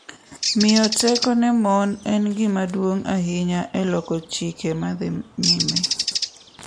Miyo teko ne mon en gima duong' ahinya e loko chike madhi nyime,